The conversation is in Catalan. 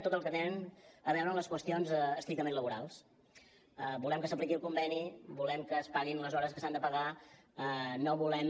tot el que té a veure amb les qüestions estrictament laborals volem que s’apliqui el conveni volem que es paguin les hores que s’han de pagar no volem